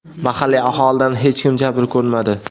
Mahalliy aholidan hech kim jabr ko‘rmadi.